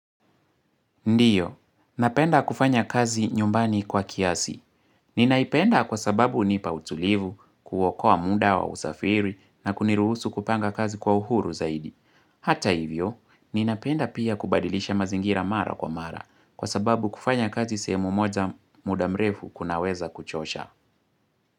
Ndiyo, napenda kufanya kazi nyumbani kwa kiasi. Ninaipenda kwa sababu unipa utulivu, kuokoa muda wa usafiri na kuniruhusu kupanga kazi kwa uhuru zaidi. Hata hivyo, ninapenda pia kubadilisha mazingira mara kwa mara kwa sababu kufanya kazi sehemu moja muda mrefu kunaweza kuchosha.